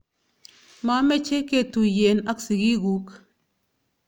mameche ketuyien ak sigikuk